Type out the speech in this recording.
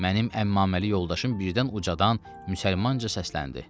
Mənim əmmaməli yoldaşım birdən ucadan müsəlmanca səsləndi.